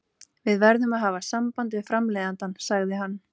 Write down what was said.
Við verðum að hafa samband við framleiðandann,- sagði hann.